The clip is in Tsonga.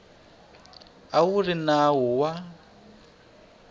a wu ri nawu wa